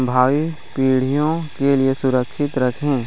भाई पीढ़ियों के लिए सुरक्षित रखे--